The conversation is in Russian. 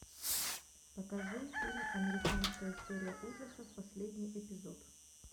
покажи фильм американская история ужасов последний эпизод